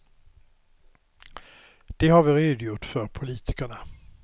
Det har vi redogjort för politikerna.